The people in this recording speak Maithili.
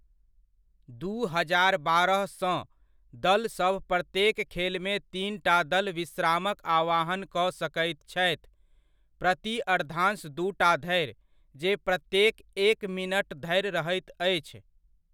दू हजार बारहसँ, दलसभ प्रत्येक खेलमे तीनटा दल विश्रामक आह्वान कऽ सकैत छथि ,प्रति अर्द्धांश दूटा धरि, जे प्रत्येक एक मिनट धरि रहैत अछि।